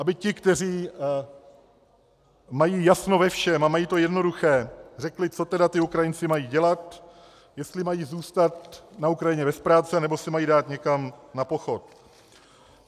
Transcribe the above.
Aby ti, kteří mají jasno ve všem a mají to jednoduché, řekli, co tedy ti Ukrajinci mají dělat, jestli mají zůstat na Ukrajině bez práce, nebo se mají dát někam na pochod.